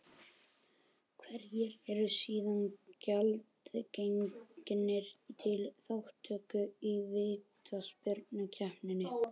Hverjir eru síðan gjaldgengir til þátttöku í vítaspyrnukeppninni?